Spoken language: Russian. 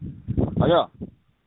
алло